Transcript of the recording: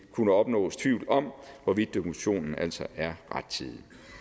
kunne opnås tvivl om hvorvidt dokumentationen altså er rettidig